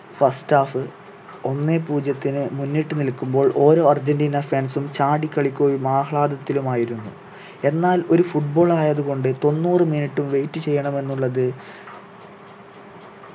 first half ഒന്നെ പൂജ്യത്തിനി മുന്നിട്ട് നിൽക്കുമ്പോൾ ഓരോ അർജന്റീന fans ഉം ചാടികളിക്കുകയും ആഹ്‌ളാദത്തിലുമായിരുന്നു എന്നാൽ ഒരു football ആയതു കൊണ്ട് തൊണ്ണൂറു minute ഉം wait ചെയ്യണമെന്നുള്ളത്